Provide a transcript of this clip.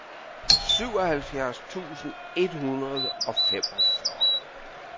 syvoghalvfjerds tusind et hundrede og femogfyrre